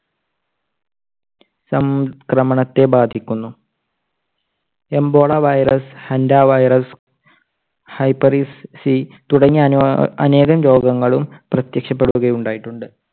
സംക്രമണത്തെ ബാധിക്കുന്നു. ebola virus, henta virus, hepatitis C തുടങ്ങിയ അനേകം രോഗങ്ങളും പ്രത്യക്ഷപ്പെടുക ഉണ്ടായിട്ടുണ്ട്.